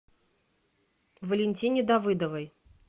валентине давыдовой